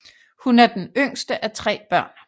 Hun er den yngste af tre børn